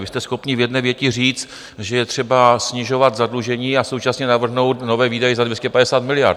Vy jste schopni v jedné větě říct, že je třeba snižovat zadlužení, a současně navrhnout nové výdaje za 250 miliard.